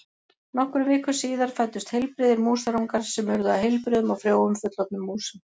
Nokkrum vikum síðar fæddust heilbrigðir músarungar sem urðu að heilbrigðum og frjóum fullorðnum músum.